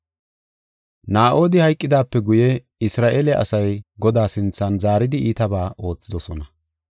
Naa7odi hayqidaape guye Isra7eele asay Godaa sinthan zaaridi iitabaa oothidosona.